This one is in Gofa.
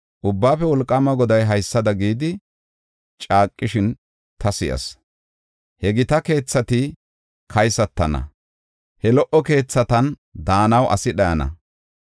Ubbaafe Wolqaama Goday haysada gidi caaqishin ta si7as. “He gita keethati kaysatana; he lo77o keethatan daanaw asi dhayana.